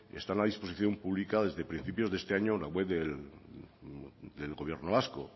están a disposición pública desde principios de este año en la web del gobierno vasco